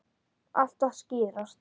Allt að skýrast